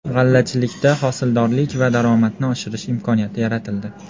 G‘allachilikda hosildorlik va daromadni oshirish imkoniyati yaratildi.